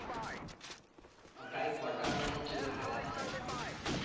প্রায় কোটা মানে team এর খেলা আছে?